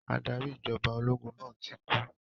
Adarí ìjọba ológun náà ti kú.